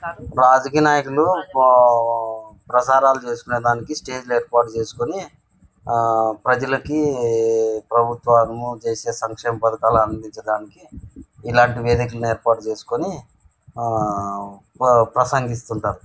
రాజకీయ నాయకులు పా ప్రచారాలు చేసుకోటానికి స్టేజి ఏర్పాటు చేసుకొని ఆ ప్రజలకి ప్రభుత్వాలు చేసే సంక్షేమ పధకాలు అందించడానికి ఇలాంటి వేదికను ఏర్పాటు చేసుకొని ఆ ప ప్రసంగిస్తుంటారు.